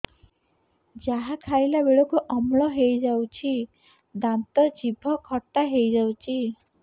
ଯାହା ଖାଇଲା ବେଳକୁ ଅମ୍ଳ ହେଇଯାଉଛି ଦାନ୍ତ ଜିଭ ଖଟା ହେଇଯାଉଛି